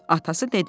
Atası dedi: